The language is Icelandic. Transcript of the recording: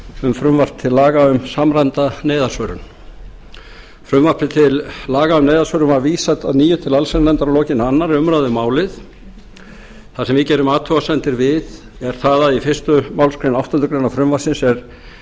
um frumvarp til laga um samræmda neyðarsvörun frumvarpi til laga um neyðarsvörun var vísað að nýju til allsherjarnefndar að lokinni annarri umræðu um málið það sem við gerum athugasemdir við er það að í fyrstu málsgrein áttundu greinar frumvarpsins er